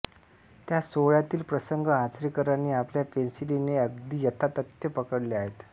त्या सोहळ्यातील प्रसंग आचरेकरांनी आपल्या पेन्सिलीने अगदी यथातथ्य पकडले आहेत